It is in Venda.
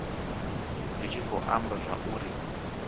zwi tshi khou amba zwauri